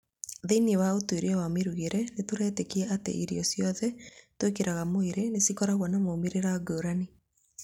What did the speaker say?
Thĩinĩ wa ũtuĩria wa mĩrugĩre, nĩtũretĩkia ati irĩo cĩothe tũikagĩra mwĩrĩinĩ nĩcikoragwo na maumĩrĩra ngũrani.